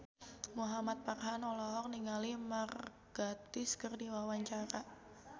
Muhamad Farhan olohok ningali Mark Gatiss keur diwawancara